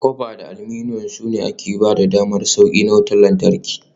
Copper da aluminum, su ne kayan da ke ba da damar sauƙi na wutar lantarki.